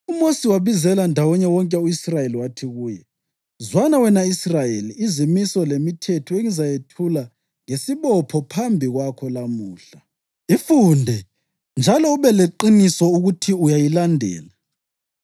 UMosi wabizela ndawonye wonke u-Israyeli wathi kuye: “Zwana, wena Israyeli, izimiso lemithetho engizayethula ngesibopho phambi kwakho lamuhla. Ifunde njalo ube leqiniso ukuthi uyayilandela.